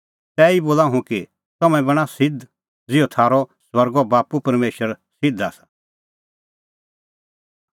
तैही बोला हुंह कि तम्हैं बणां सिध्द ज़िहअ थारअ स्वर्गो बाप्पू परमेशर सिध्द आसा